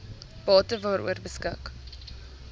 bate waaroor beskik